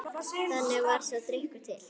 Þannig varð sá drykkur til.